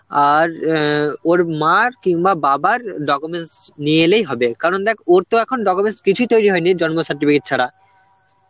আর অ্যাঁ ওর মার কিংবা বাবার documents নিয়ে এলেই হবে কারণ দেখ ওর তো এখন documents কিছুই তৈরি হয়নি জন্ম certificate ছাড়া.